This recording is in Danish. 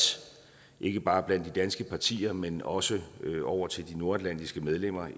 ikke bare blandt de danske partier men også over til de nordatlantiske medlemmer